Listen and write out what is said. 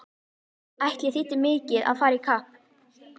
Ætli þýddi mikið að fara í kapp!